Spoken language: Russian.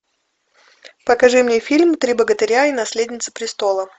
покажи мне фильм три богатыря и наследница престола